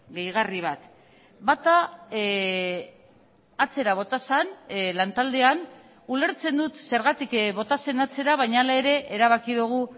gehigarri bat bata atzera bota zen lantaldean ulertzen dut zergatik bota zen atzera baina hala ere erabaki dugu